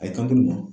A ye kan di olu ma